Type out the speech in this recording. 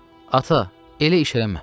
Ata, elə iş eləmə.